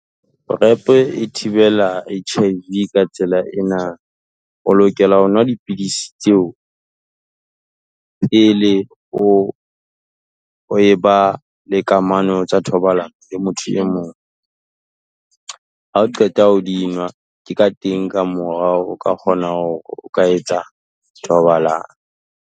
PREP e thibela H_I_V Ka tsela ena, o lokela ho nwa dipidisi tseo, pele o e ba le kamano tsa thobalano le motho e mong. Hao qeta ho dinwa ke ka teng ka morao, o ka kgona hore o ka etsa thobalano.